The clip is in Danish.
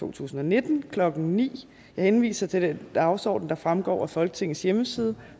to tusind og nitten klokken ni jeg henviser til den dagsorden der fremgår af folketingets hjemmeside